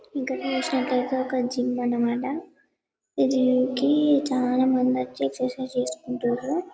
ఇక్కడ చూసినట్టైతే ఒక జిమ్ అన్నమాట ఈ జిమ్ కి చాలా ముందొచ్చి ఎక్సర్సిస్ చేసుకుంటారు